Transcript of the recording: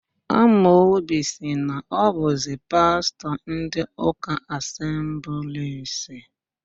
Amobi sị na ọ bụzi pastọ ndị ụka Asemblis.